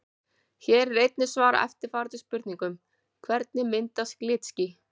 Hér er einnig svarað eftirfarandi spurningum: Hvernig myndast glitský?